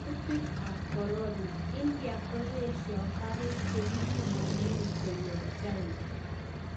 Kutik ap korona; Idia koyesio karig che kipimonen ge koyop china.